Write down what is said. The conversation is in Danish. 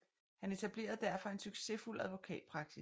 Han etablerede derefter en succesfuld advokatpraksis